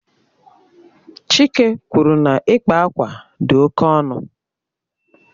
Chike kwuru na akpa akwa bụ oke ọnụ.